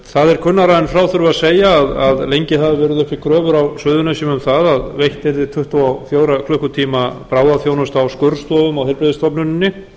það er kunnara en frá þurfi að segja að lengi hafa verið uppi kröfur á suðurnesjum um það að veitt yrði tuttugu og fjóra klukkutíma bráðaþjónusta á skurðstofum á heilbrigðisstofnuninni